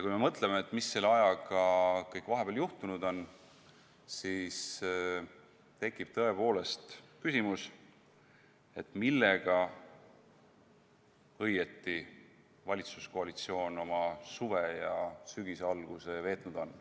Kui me mõtleme, mis selle ajaga vahepeal kõik juhtunud on, siis tekib tõepoolest küsimus, millega õieti valitsuskoalitsioon oma suve ja sügise alguse veetnud on.